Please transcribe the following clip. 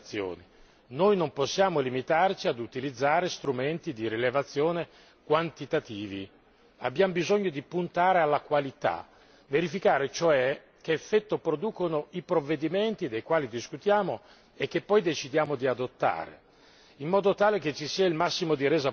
Noi non possiamo limitarci a utilizzare strumenti di rilevazione quantitativi, ma abbiamo bisogno di puntare alla qualità, verificare cioè che effetto producono i provvedimenti dei quali discutiamo e che poi decidiamo di adottare, in modo tale che ci sia il massimo di resa possibile.